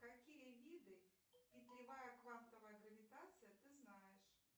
какие виды петлевая квантовая гравитация ты знаешь